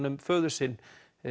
um föður sinn